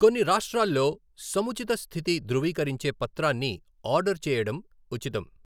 కొన్ని రాష్ట్రాల్లో సముచిత స్థితి ధ్రువీకరించే పత్రాన్ని ఆర్డర్ చేయడం ఉచితం.